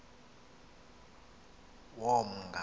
yomnga